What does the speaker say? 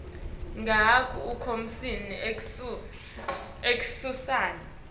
ngehhafu yenkomishi ekuseni